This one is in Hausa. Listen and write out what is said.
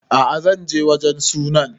A'a zan je wajen sunan